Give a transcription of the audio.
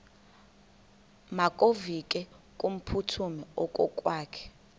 makevovike kumphuthumi okokwakhe